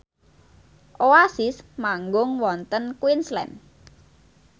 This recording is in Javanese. Oasis manggung wonten Queensland